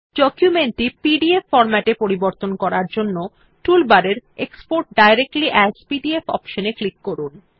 document টি PDF ফর্ম্যাটে পরিবর্তন করার জন্য টুল বারের export directly as PDF option এ ক্লিক করুন